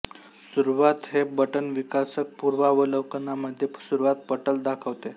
सुरुवात हे बटन विकासक पूर्वावलोकनामध्ये सुरुवात पटल दाखवते